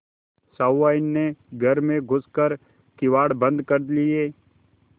सहुआइन ने घर में घुस कर किवाड़ बंद कर लिये